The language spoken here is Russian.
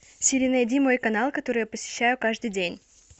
сири найди мой канал который я посещаю каждый день